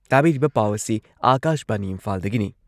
ꯇꯥꯕꯤꯔꯤꯕ ꯄꯥꯎ ꯑꯁꯤ ꯑꯥꯀꯥꯁꯕꯥꯅꯤ ꯏꯝꯐꯥꯜꯗꯒꯤꯅꯤ